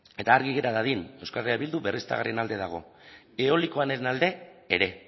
eta argi gera dadin euskal herria bildu berriztagarrien alde dago eolikoaren alde ere